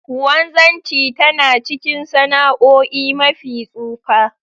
wanzanchi tana ckin sana'oi mafi tsufa.